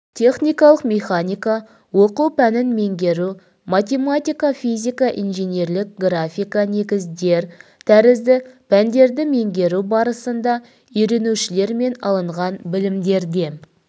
техникалық механика оқу пәнін меңгеру математика физика инженерлік графика негіздер тәрізді пәндерді меңгеру барысында үйренушілермен алынған білімдерде